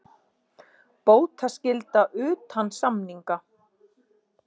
Bótaskylda utan samninga.